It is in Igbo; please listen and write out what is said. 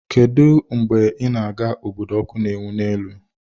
Kedu mgbe ị na-aga obodo ọkụ na-enwu n'elu?